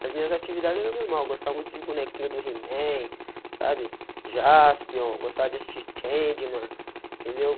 Mas minhas atividades eram normal, gostava muito de bonequinhos do He-man, sabe Jaspion, gostava de assistir Changeman, entendeu?